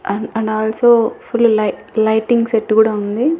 And and also full లై lighting set గూడా ఉంది.